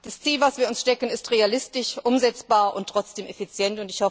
Das Ziel, das wir uns stecken, ist realistisch, umsetzbar und trotzdem effizient.